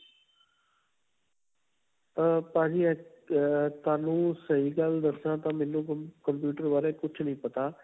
ਅਅ ਭਾਜੀ ਤੁਹਾਨੂੰ ਸਹੀ ਗੱਲ ਦੱਸਾਂ ਤਾਂ ਮੈਨੂੰ computer ਬਾਰੇ ਕੁਝ ਨਹੀਂ ਪਤਾ.